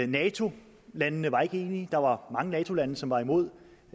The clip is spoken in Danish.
nato landene var ikke enige der var mange nato lande som var imod